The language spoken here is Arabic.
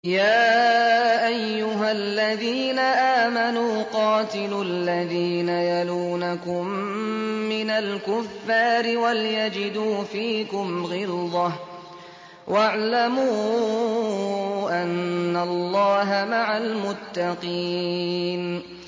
يَا أَيُّهَا الَّذِينَ آمَنُوا قَاتِلُوا الَّذِينَ يَلُونَكُم مِّنَ الْكُفَّارِ وَلْيَجِدُوا فِيكُمْ غِلْظَةً ۚ وَاعْلَمُوا أَنَّ اللَّهَ مَعَ الْمُتَّقِينَ